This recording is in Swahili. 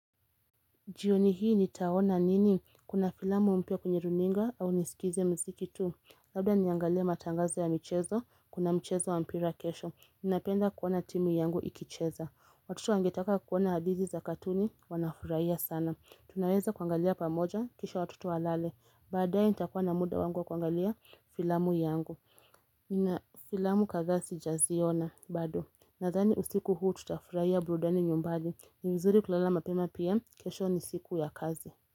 Jioni hii nitaona nini kuna filamu mpya kwenye runinga au nisikize mziki tu? Labda niangalie matangazo ya michezo kuna mchezo wa mpira kesho. Ninapenda kuona timu yangu ikicheza. Watoto wangetaka kuona hadhisi za katuni wanafurahia sana. Tunaweza kuangalia pamoja kisha watoto walale. Baadae nitakuwa na muda wangu kuangalia filamu yangu. Nina filamu kadhaa sijaziona bado. Nadhani usiku huu tutafurahia burudani nyumbadi. Ni mzuri kulala mapema pia, kesho ni siku ya kazi.